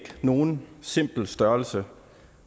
nogen simpel størrelse